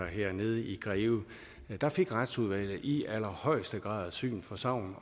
nede i greve der fik retsudvalget i allerhøjeste grad syn for sagn